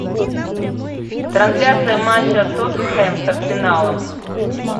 трансляция матча тоттенхэм с арсеналом